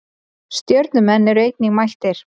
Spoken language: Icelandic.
Stjörnumenn eru einnig mættir.